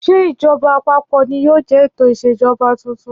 Ṣé ìjọba àpapọ̀ ni yóò jẹ́ ètò ìṣèjọba tuntun?